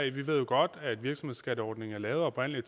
jo godt at virksomhedsskatteordningen oprindelig